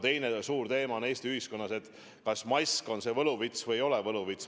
Teine suur teema on Eesti ühiskonnas, kas mask on võluvits või ei ole võluvits.